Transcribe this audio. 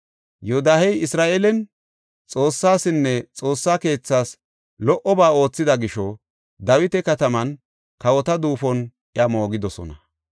Yoodahey Isra7eelen Xoossasinne Xoossa keethaas lo77oba oothida gisho Dawita kataman kawota duufon iya moogidosona.